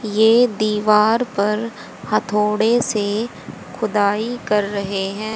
ये दीवार पर हथौड़े से खुदाई कर रहे हैं।